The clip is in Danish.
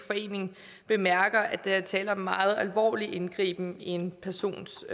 forening bemærker er der tale om en meget alvorlig indgriben i en persons